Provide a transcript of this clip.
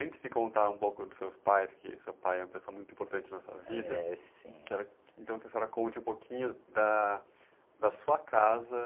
Antes de contar um pouco dos seus pais, que seu pai é uma pessoa muito importante na sua vida...h, é sim!u quero, então, que a senhora conte um pouquinho da, da sua casa